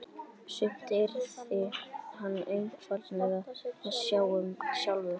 Sumt yrði hann einfaldlega að sjá um sjálfur.